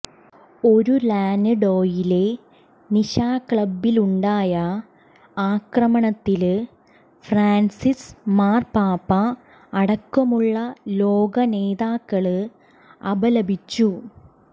ഒര്ലാന്ഡോയിലെ നിശാക്ലബ്ബിലുണ്ടായ ആക്രമണത്തില് ഫ്രാന്സിസ് മാര്പാപ്പ അടക്കമുള്ള ലോക നേതാക്കള് അപലപിച്ചു